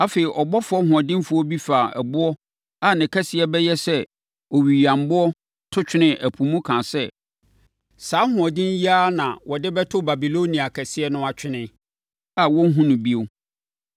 Afei, ɔbɔfoɔ hoɔdenfoɔ bi faa ɛboɔ a ne kɛseɛ bɛyɛ sɛ owiyammoɔ to twenee ɛpo mu kaa sɛ, “Saa ahoɔden yi ara na wɔde bɛto Babilonia kɛseɛ no atwene, a wɔrenhunu no bio.